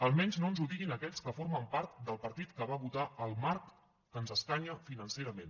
almenys no ens ho diguin aquells que formen part del partit que va votar el marc que ens escanya financerament